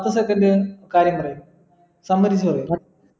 പത്തു second കാര്യം പറയു